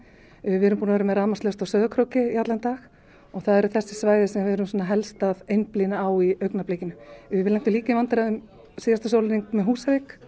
við erum búin að vera með rafmagnslaust á Sauðárkróki í allan dag og það eru þessi svæði sem við erum helst að einblína á í augnablikinu við lentum líka í vandræðum síðasta sólarhring með Húsavík